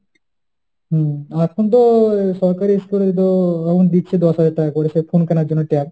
হম এখন তো সরকারি school এ তো এখন দিচ্ছে দশ হাজার টাকা করে সে phone কেনার জন্য tab।